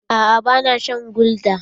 Aa ba na shan gulda.